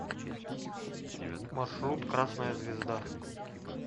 маршрут красная звезда